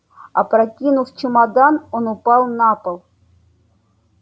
опрокинув чемодан он упал на пол